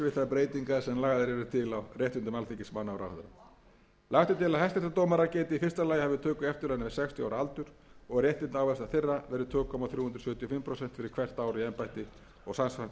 breytingar sem lagðar eru til á réttindum alþingismanna og ráðherra lagt er til að hæstaréttardómarar geti í fyrsta lagi hafið töku eftirlauna við sextíu ára aldur og að réttindaávinnsla þeirra verði tvö komma þrjú sjö fimm prósent fyrir hvert ár í embætti